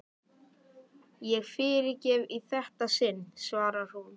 Ég fyrirgef í þetta sinn, svarar hún.